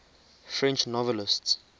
french novelists